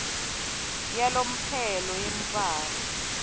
yalomphelo yemntfwana